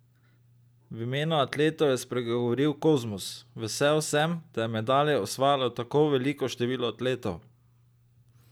V imenu atletov je spregovoril Kozmus: 'Vesel sem, da je medalje osvajalo tako veliko število atletov.